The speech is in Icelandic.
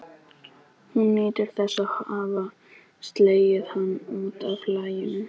Hún nýtur þess að hafa slegið hann út af laginu.